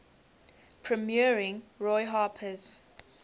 premiering roy harper's